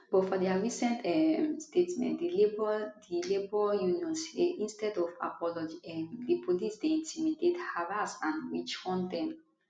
but for dia recent um statement di labour di labour union say instead of apology um di police dey intimidate harass and witchhunt dem